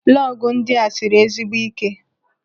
Lọgụ ndị a siri ezigbo ike.